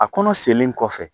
A kɔnɔ sennen kɔfɛ